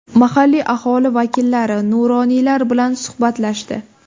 Mahalliy aholi vakillari, nuroniylar bilan suhbatlashdi.